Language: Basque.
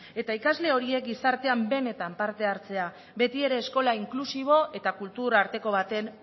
eta ikasle horiek gizartean benetan parte hartzea betiere eskola inklusibo eta kultur arteko baten